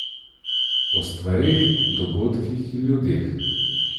O stvareh, dogodkih in ljudeh.